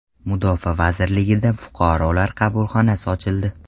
Mudofaa vazirligida Fuqarolar qabulxonasi ochildi.